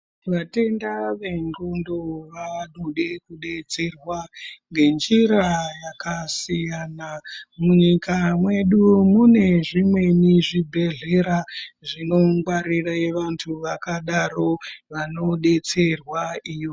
Vatenda vendxondo vanode kudetserwa ngenjira yakasiyana. Munyika mwedu mune zvimweni zvibhedhlera zvinongwarirwe vantu vakadaro vanodetserwa iyo.